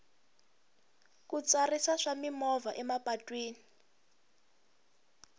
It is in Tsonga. ku tsarisa swa mimovha emapatwini